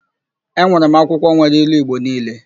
Enwere m akwụkwọ nwere ilu Igbo niile.